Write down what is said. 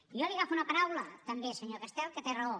i jo li agafo una paraula també senyor castel que té raó